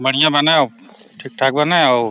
बढ़िया बा न ठीक ठाक बा न उ।